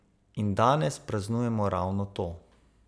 In danes praznujemo ravno to.